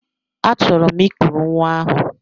Achọrọ m I kuru nwa ahụ.